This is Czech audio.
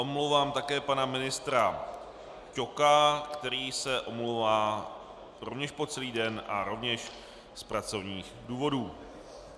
Omlouvám také pana ministra Ťoka, který se omlouvá rovněž po celý den a rovněž z pracovních důvodů.